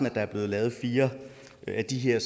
at der er blevet lavet fire af de her